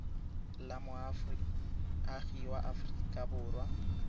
la moagi wa aforika borwa